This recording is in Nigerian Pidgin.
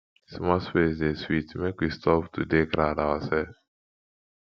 small space dey sweet make we stop to dey crowd oursef